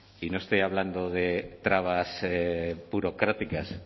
y no estoy hablando de trabas burocráticas